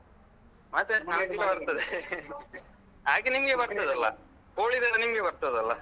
ಮತ್ತೆ ಅಡಿಗೆಯೆಲ್ಲ ಬರ್ತದೆ ಹಾಗೆ ನಿಂಗೆ ಬರ್ತದಲ್ಲ ಕೋಳಿದೆಲ್ಲ ನಿಂಗೆ ಬರ್ತದಲ್ಲ?